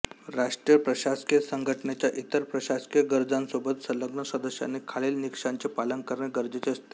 राष्ट्रीय प्रशासकीय संघटनेच्या इतर प्रशासकीय गरजांसोबत संलग्न सदस्यांनी खालील निकषांचे पालन करणे गरजेचे असते